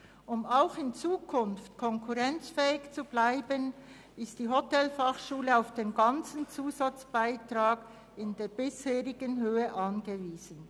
Um auch in Zukunft konkurrenzfähig zu bleiben, ist die Hotelfachschule Thun auf den ganzen Zusatzbeitrag in der bisherigen Höhe angewiesen.